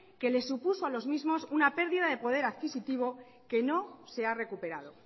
que les supuso a los mismos una pérdida del poder adquisitivo que no se ha recuperado